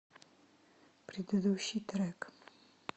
предыдущий трек